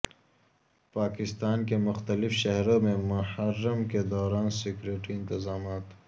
پاکستان کے مختلف شہروں میں محرم کے دوران سکیورٹی انتظامات